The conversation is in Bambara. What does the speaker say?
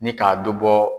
Ni k'a dɔ bɔ